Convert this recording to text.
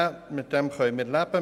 Buchstabe b können wir leben.